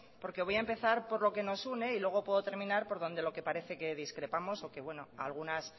porque voy a empezar por lo que nos une y luego puedo terminar por donde lo que parece que discrepamos o que bueno algunas